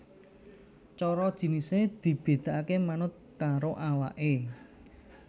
Coro jinisé dibedakaké manut karo awaké